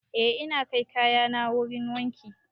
Eh ina kai kayana wurin wanki